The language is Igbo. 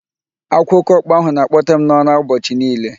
Akwa oke ọkpa ahụ na-akpote m n'ụra ụbọchị niile.